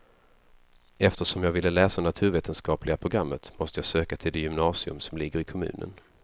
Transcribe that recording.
Eftersom jag ville läsa naturvetenskapliga programmet måste jag söka till det gymnasium som ligger i kommunen.